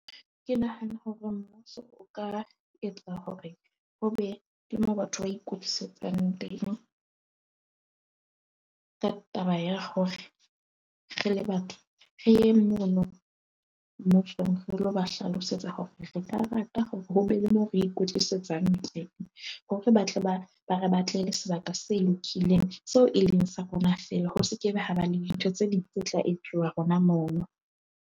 Ke nahana hore mmuso o ka etsa hore ho be le mo batho ba ikekwetlisetsang teng. Ka taba ya hore re le batho re yeng mono re lo ba hlalosetsa hore re ka rata hore ho be le mo re ikwetlisetsang teng. Hore batle ba ba re batlele sebaka se lokileng seo e leng sa rona fela ho se ke be ha ba le dintho tse ding tse tla etsuwa hona mono.